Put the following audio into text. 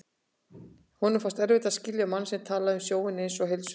Honum fannst erfitt að skilja mann sem talaði um sjóinn einsog heilsulind.